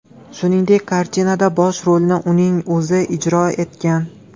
Shuningdek, kartinada bosh rolni uning o‘zi ijro etgan.